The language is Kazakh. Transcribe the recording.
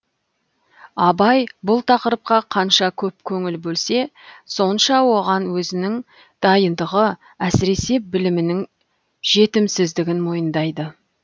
абай бұл тақырыпқа қанша көп көңіл бөлсе сонша оған өзінің дайындығы әсіресе білімнің жетімсіздігін мойындайды